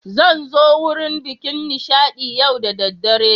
Zain'zo wurin bikin Nishadi yau da daddare.